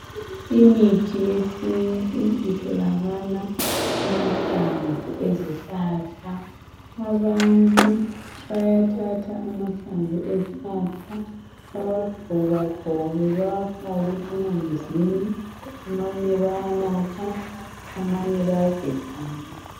Imithi yesintu itholakala kumahlamvu ezihlahla. Abantu bayathatha amahlamvu ezihlahla bawagxobagxobe bawafake emanzini, amanye bayanatha, amanye bayageza ngawo.